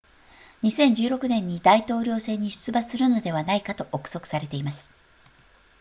2016年に大統領選に出馬するのではないかと憶測されています